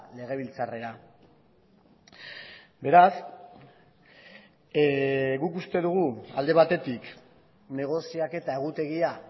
legebiltzarrera beraz guk uste dugu alde batetik negoziaketa egutegia